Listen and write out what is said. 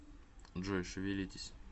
джой шевелитесь